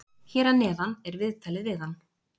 Hér að neðan er viðtalið við hann.